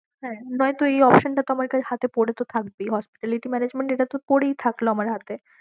হ্যাঁ নয়তো এই option টা তো আমার কা~ হাতে পরে তো থাকবেই, hospitality management এটা তো পরেই থাকলো আমার হাতে